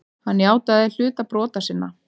Hann játaði hluta brota sinna.